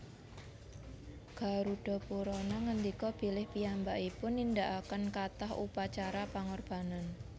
Garudapurana ngendika bilih piyambakipun nindakaken kathah upacara pangorbanan